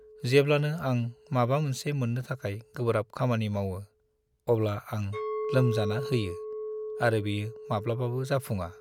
जेब्लानो आं माबा मोनसे मोन्नो थाखाय गोब्राब खामानि मावो, अब्ला आं लोमजान होयो, आरो बेयो माब्लाबाबो जाफुङा।